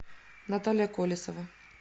наталья колесова